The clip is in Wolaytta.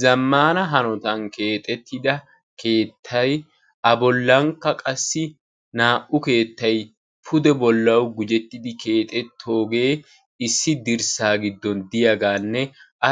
zammana hanotan keexxetida keettay a bollankka qassi naa"u keettay pude bollaw gujjetidi keexxetooge dirssa giddon diyaaganne